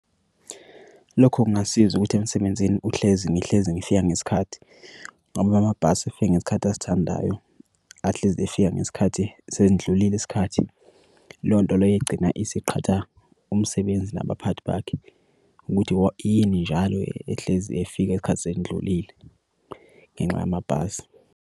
Lokho kungasiza ukuthi emsebenzini uhlezi ngihlezi ngifika ngesikhathi ngoba amabhasi efika ngesikhathi asithandayo, ahlezi efika ngesikhathi senidlulile isikhathi. Leyo nto leyo egcina isiqhatha umsebenzi nabaphathi bakhe ukuthi yini njalo ehlezi efika isikhathi sendlulile ngenxa yamabhasi.